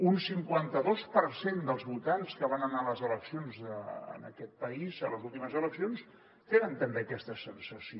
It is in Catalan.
un cinquanta dos per cent dels votants que van anar a les eleccions en aquest país a les últimes eleccions tenen també aquesta sensació